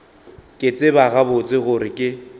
ke tseba gabotse gore ke